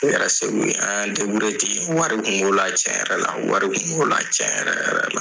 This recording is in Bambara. U kɛra segu yen an y'an ten wari tun b'o la cɛn yɛrɛ la wari tun b'o la cɛ yɛrɛ yɛrɛ la.